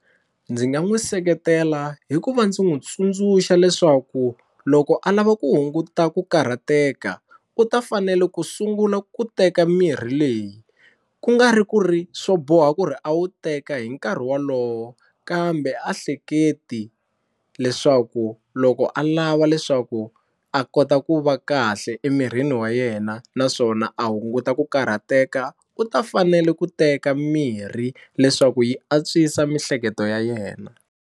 Ndzi nga n'wi seketela hi ku va ndzi n'wi tsundzuxa leswaku loko a lava ku hunguta ku karhateka u ta fanele ku sungula ku teka mirhi leyi ku nga ri ku ri swo boha ku ri a wu teka hi nkarhi wolowo kambe a hleketi leswaku loko a lava leswaku a kota ku va kahle emirini wa yena naswona a hunguta ku karhateka u ta fanele ku teka mirhi leswaku yi antswisa miehleketo ya yena.